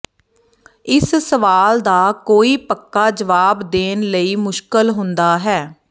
ਇਸ ਸਵਾਲ ਦਾ ਕੋਈ ਪੱਕਾ ਜਵਾਬ ਦੇਣ ਲਈ ਮੁਸ਼ਕਲ ਹੁੰਦਾ ਹੈ